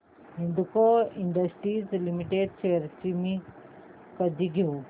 Hindalco industries limited shares मी कधी घेऊ